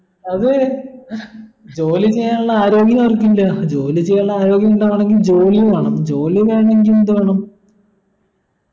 അത് ജോലി ചെയ്യാനുള്ള ആരോഗ്യവർക്കില്ല ജോലി ചെയ്യാനുള്ള ആരോഗ്യമുണ്ടാവണമെങ്കിൽ ജോലി വേണം ജോലി വേണമെങ്കിൽ എന്തു വേണം